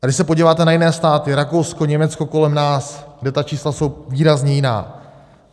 A když se podíváte na jiné státy, Rakousko, Německo, kolem nás, kde ta čísla jsou výrazně jiná.